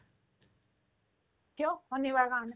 কিয় ? শনিবাৰ কাৰণে